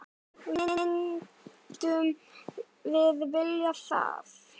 Myndum við vilja það?